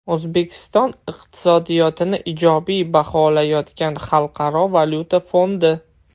O‘zbekiston iqtisodiyotini ijobiy baholayotgan Xalqaro valyuta fondi.